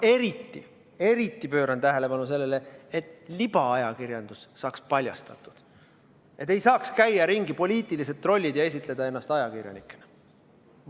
Seetõttu pööran ma erilist tähelepanu sellele, et libaajakirjandus saaks paljastatud, sellele, et ei saaks ringi käia poliitilised trollid ja esitleda ennast ajakirjanikena.